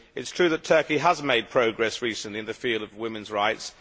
It is true that Turkey has made progress recently in the field of women's rights.